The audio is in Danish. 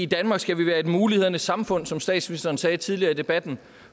danmark skal vi være et mulighedernes samfund som statsministeren sagde tidligere i debatten